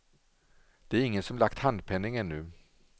Det är ingen som lagt handpenning ännu.